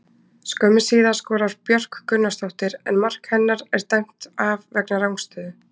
Skömmu síðar skorar Björk Gunnarsdóttir en mark hennar er dæmt af vegna rangstöðu.